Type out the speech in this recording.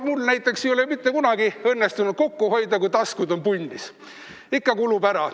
Mul näiteks ei ole mitte kunagi õnnestunud kokku hoida, kui taskud on punnis – ikka kulub ära.